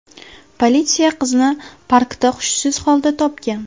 Politsiya qizni parkda hushsiz holda topgan.